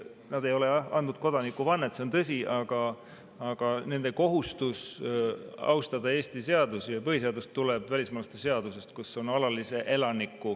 Nad ei ole, jah, andnud kodanikuvannet, see on tõsi, aga nende kohustus austada Eesti seadusi ja põhiseadust tuleneb välismaalaste seadusest.